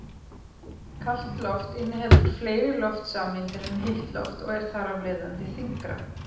Kalt loft inniheldur fleiri loftsameindir en heitt loft og er þar af leiðandi þyngra.